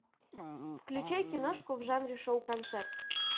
включай киношку в жанре шоу концерт